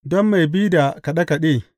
Don mai bi da kaɗe kaɗe.